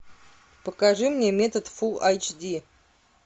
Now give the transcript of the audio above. покажи мне метод фулл айч ди